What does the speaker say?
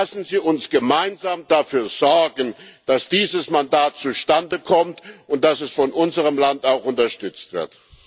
Lassen Sie uns gemeinsam dafür sorgen, dass dieses Mandat zustande kommt, und dass es von unserem Land auch unterstützt wird.